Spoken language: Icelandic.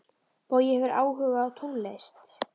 Bogi hefur áhuga á tónlist.